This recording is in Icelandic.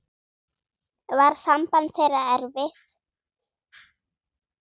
Var samband þeirra erfitt.